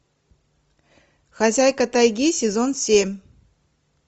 хозяйка тайги сезон семь